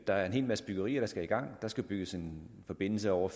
der er en hel masse byggerier der skal i gang der skal bygges en forbindelse over